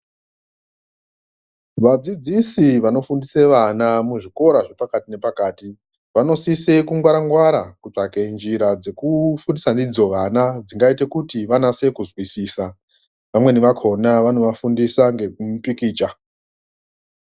Vadzidzisi vanofundise vana muzvikora zvepakati nepakati vanosise kungwara-ngwara kutsvake njira dzekufundisa ndidzo vana dzingaite kuti vanase kuzwisisa, vamweni vakhona vanovafundisa ngekupikicha.